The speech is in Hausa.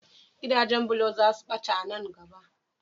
Gidajen bulo za su ɓata a nan gaba.